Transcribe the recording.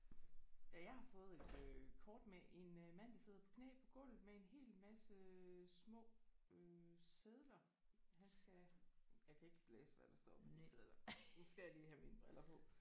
Ja jeg har fået et øh kort med en øh mand der sidder på knæ på gulvet med en helt masse øh små øh sedler han skal jeg kan ikke læse hvad der står på de sedler. Nu skal jeg lige have mine briller på